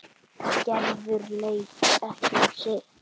Gerður leit ekki á sitt.